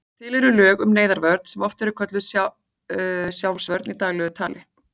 Til eru lög um neyðarvörn sem oft er kölluð sjálfsvörn í daglegu tali.